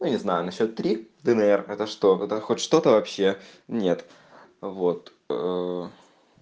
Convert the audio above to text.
ну не знаю насчёт три днр это что это хоть что-то вообще нет вот